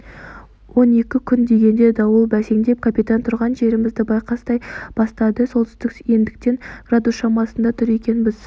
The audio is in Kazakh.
он екі күн дегенде дауыл бәсеңдеп капитан тұрған жерімізді байқастай бастады солтүстік ендіктен градус шамасында тұр екенбіз